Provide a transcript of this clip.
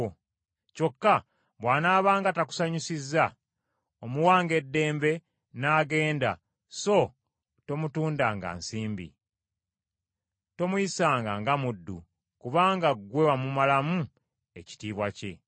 Kyokka bw’anaabanga takusanyusizza, omuwanga eddembe n’agenda so tomutundanga nsimbi. Tomuyisanga nga muddu, kubanga ggwe wamumalamu ekitiibwa kye.